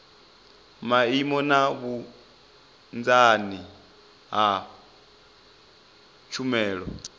maimo na vhunzani ha tshumelo